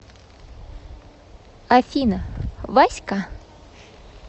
афина вась ка